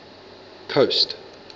coast